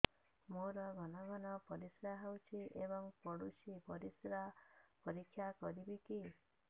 ମୋର ଘନ ଘନ ପରିସ୍ରା ହେଉଛି ଏବଂ ପଡ଼ୁଛି ପରିସ୍ରା ପରୀକ୍ଷା କରିବିକି